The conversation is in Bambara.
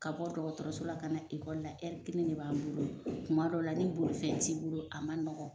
Ka bɔ dɔgɔtɔrɔso la ka na ekɔli la kelen de b'an bolo kuma dɔ la ni bolifɛn t'i bolo a man nɔgɔ.